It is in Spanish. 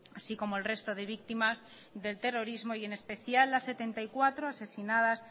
así como el resto de víctimas del terrorismo y en especial las setenta y cuatro asesinadas